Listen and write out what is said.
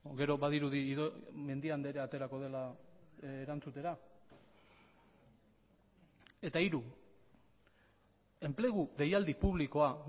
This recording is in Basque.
gero badirudi mendia andrea aterako dela erantzutera eta hiru enplegu deialdi publikoa